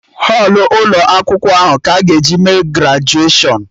Họlụ ụkọ akwụkwọ ahụ ka a ga-eji mee grajuashọn